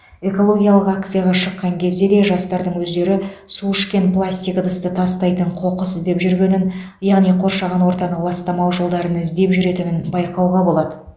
экологиялық акцияға шыққан кезде де жастардың өздері су ішкен пластик ыдысты тастайтын қоқыс іздеп жүргенін яғни қоршаған ортаны ластамау жолдарын іздеп жүретінін байқауға болады